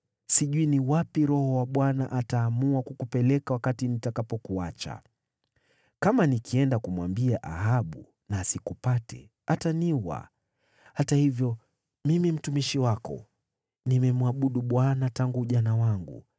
Sijui ni wapi Roho wa Bwana ataamua kukupeleka wakati nitakapokuacha. Kama nikienda kumwambia Ahabu na asikupate, ataniua. Hata hivyo mimi mtumishi wako nimemwabudu Bwana tangu ujana wangu.